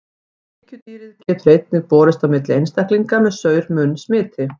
Sníkjudýrið getur einnig borist á milli einstaklinga með saur-munn smiti.